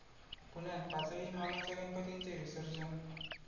पुण्यात पाचही मानाच्या गणपतींचे विसर्जन